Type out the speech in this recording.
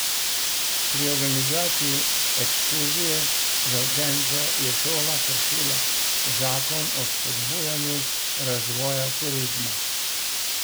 Pri organizaciji ekskurzije za učence je šola kršila zakon o spodbujanju razvoja turizma.